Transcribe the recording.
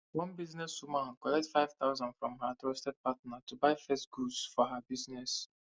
one business woman collect 5000 from her trusted partner to buy first goods for her business